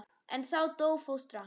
En þá dó fóstra.